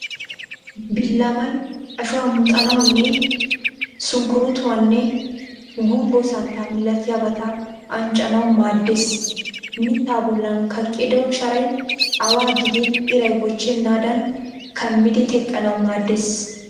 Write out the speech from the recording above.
Billamay ashuwa muxanawunne sunkkuruutuwaanne gumbbo santtaa malatiyaabata anccanawu maaddes. Mittaa bollan kaqqido sharay awaa gidin iray bochchennaadan kaammidi teqqanawu maaddes.